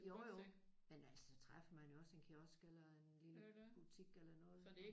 Jo jo. Men ellers så træffer man jo også en kiosk eller en lille butik eller noget